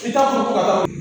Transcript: I t'a